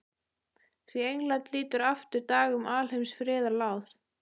Því England lítur aftur dag um alheims friðað láð.